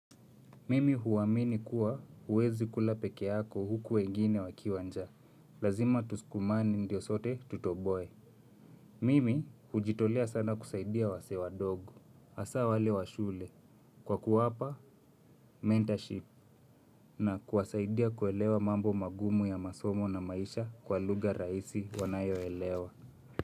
Mimi huamini kuwa huwezi kula peke yako huku wengine wakiwa njaa. Lazima tusukumane ndio sote tutoboe. Mimi hujitolea sana kusaidia wasee wadogo. Hasa wale wa shule. Kwa kuwapa, mentorship. Na kuwasaidia kuelewa mambo magumu ya masomo na maisha kwa lugha rahisi wanayoelewa.